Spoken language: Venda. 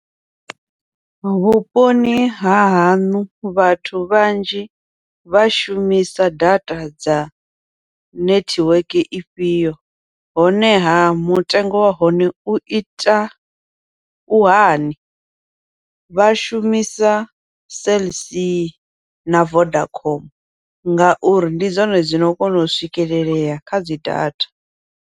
Vhuponi hahaṋu vhathu vhanzhi vha shumisa data dza nethiweke ifhio honeha mutengo wa hone uita u hani, vha shumisa Cell c na Vodacom ngauri ndi dzone dzino kona u swikelelea kha dzi data.